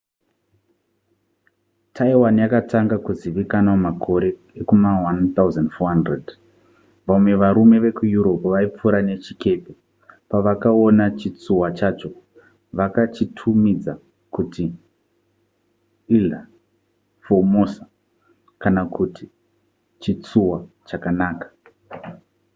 taiwan yakatanga kuzivikanwa makore ekuma1400 vamwe varume vekueurope vaipfuura nechikepe pavakaona chitsuwa chacho vakachitumidza kuti ilha formosa kana kuti chitsuwa chakanaka